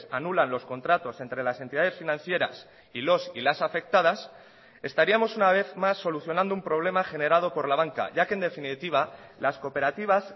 anulan los contratos entre las entidades financieras y los y las afectadas estaríamos una vez más solucionando un problema generado por la banca ya que en definitiva las cooperativas